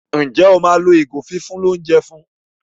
Njé o ma ló ìgò fífún l'ounjẹ fún?